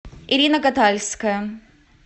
ирина катальская